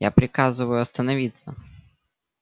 я приказываю остановиться